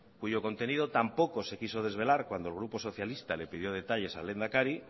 cuyo contenido tampoco se quiso desvelar cuando el grupo socialista le pidió detalles al lehendakari